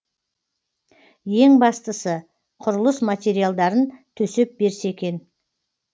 ең бастысы құрылыс материалдарын төсеп берсе екен